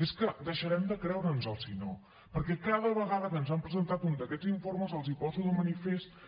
és que deixarem de creure’ns ho si no perquè cada vegada que ens han presentat un d’aquests informes els poso de manifest